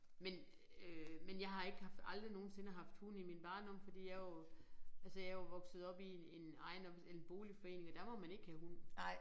Men øh men jeg har ikke haft aldrig nogensinde haft hund i min barndom fordi jeg jo altså jeg jo vokset op i en ejendoms en boligforening og der må man ikke have hund